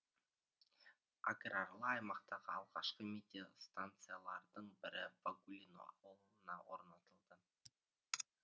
аграрлы аймақтағы алғашқы метеостанциялардың бірі вагулино ауылына орнатылды